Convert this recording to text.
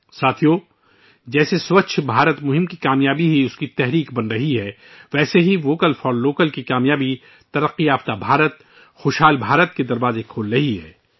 ساتھیو، جس طرح 'سووچھ بھارت ابھیان ' کی کامیابی ایک تحریک بن گئی ہے ، اسی طرح ' ووکل فار لوکل ' کی کامیابی ' ایک ترقی یافتہ بھارت خوشحال بھارت ' کے دروازے کھول رہی ہے